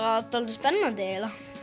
spennandi